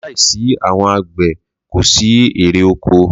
Láì sí àwọn àgbẹ̀ kòsí ẹ̀re oko.